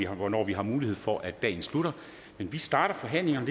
hvornår vi har mulighed for at dagen slutter men vi starter forhandlingerne